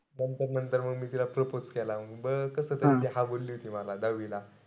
नंतर-नंतर म मी तिला propose केला. म बरंच कस ते हा बोलली होती मला दहावीला.